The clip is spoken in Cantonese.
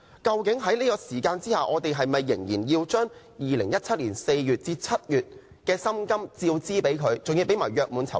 究竟我們是否仍要支付他2017年4月至7月的薪金和約滿酬金？